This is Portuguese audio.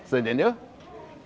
Você entendeu?